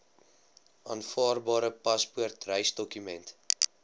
aanvaarbare paspoort reisdokument